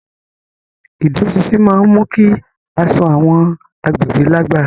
Ìdúróṣinṣin máa ń mú kí aṣọ àwọn agbègbè lágbára.